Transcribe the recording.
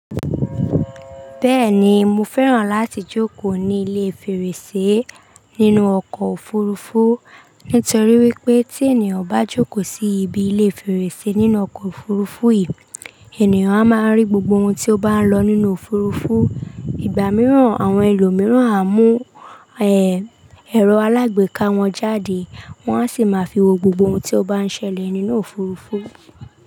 Bẹ́ẹ̀ni, mo fẹ́ràn láti jókòó ní ilé fèrèsé nínú ọkọ̀ òfurufú nítorí wípé tí ènìyàn bá jókòó sí ibi ilé fèrèsé nínú ọkọ̀ òfurufú yìí, ènìyàn a máa rí gbogbo ohun tí ó bá ń lọ nínú òfurufú. Ìgbà mìíràn, àwọn ẹlòmíràn a mú, ẹ, ẹ̀rọ alágbèéká wọn jáde, wọ́n a sì máa fi wo gbogbo ohun tí ó bá ń ṣẹlẹ̀ nínú òfurufú.